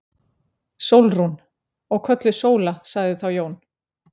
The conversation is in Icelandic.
Sólrún. og kölluð Sóla, sagði þá Jón.